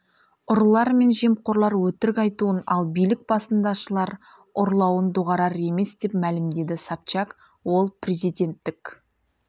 ұрылар мен жемқорлар өтірік айтуын ал билік басындашылар ұрлауын доғарар емес деп мәлімдеді собчак ол президенттік